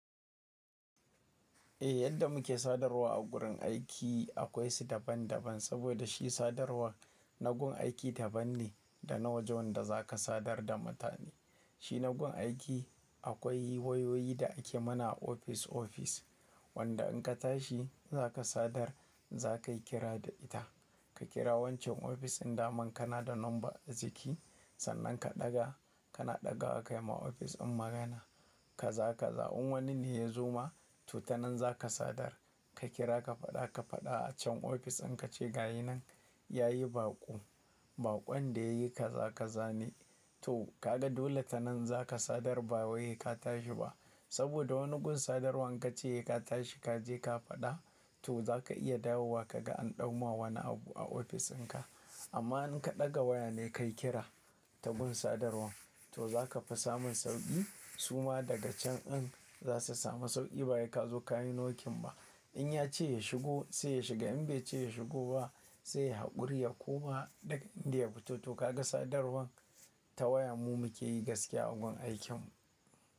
Eh yadda muke sadarwa a gurin aiki akwai su daban daban, saboda shi sadarwar nagun aiki daban ne, da na waje wanda za ka sadar da mutane. Shi nagun aiki akwai wayoyi da ake mana a ofis ofis, wanda in ka tashi za ka sadar za ka yi kira da ita. Ka kira wancan ofis in daman kana da number a jiki, sannan ka ɗaga kana ɗaga ka kai ma ofis din magana ka za ka za. In wani ne ya zo ma to ta nan za ka sadar. Ka kira ka faɗa ka faɗa a can ofis din ka ce gayina yayi baƙo, baƙon da yayi ka za ka zane. To ka ga dole ta nan za ka sadar ba Wai se ka tashi ba. Saboda wani gun sadarwan inka ce se ka tashi ka je ka faɗa to za ka iya dawowa ka ga an ɗau ma wani abu a ofis dinka. Amma in ka ɗaga waya na ka yi kira ta gun sadarwan to za ka fi samun sauƙi. Su ma daga can din za su sami sauƙi ba sai ka zo ka yi nokin ba. In ya ce ya shigo sai ya shiga in bai ce ya shigo ba sai yayi haƙuri ya koma inda ya fito. To ka ga sadarwan ta waya mu muke yi gaskiya a gun aikin mu.